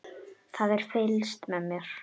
Það er fylgst með mér.